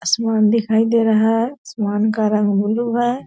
असमान दिखाई दे रहा है असमान का रंग ब्लू है।